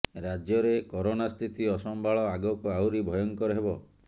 ରାଜ୍ୟରେ କରୋନା ସ୍ଥିତି ଅସମ୍ଭାଳ ଆଗକୁ ଆହୁରି ଭୟଙ୍କର ହେବ